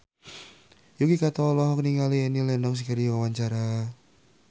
Yuki Kato olohok ningali Annie Lenox keur diwawancara